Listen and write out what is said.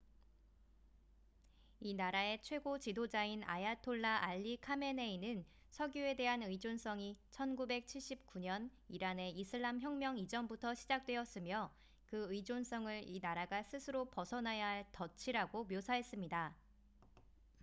"이 나라의 최고 지도자인 아야톨라 알리 카메네이는 석유에 대한 의존성이 1979년 이란의 이슬람 혁명 이전부터 시작되었으며 그 의존성을 이 나라가 스스로 벗어나야 할 "덫""이라고 묘사했습니다.